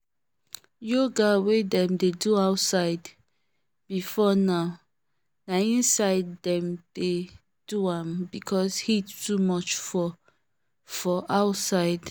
yoga wey dem dey do outside before now na inside dem dey doam because heat too much for for outside